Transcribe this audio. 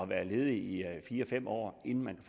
været ledig i fire fem år inden man